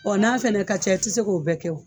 Ɔ n'a fɛnɛ ka ca i te se k'o bɛɛ kɛ o